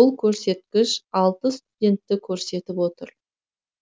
бұл көрсеткіш алты студентті көрсетіп отыр